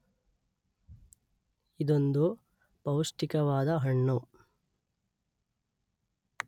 ಇದೊಂದು ಪೌಷ್ಟಿಕವಾದ ಹಣ್ಣು.